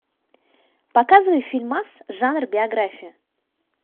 показывай фильмас жанр биография